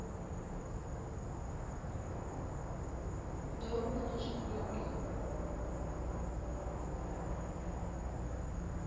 ngauri vha na zwifho ngeno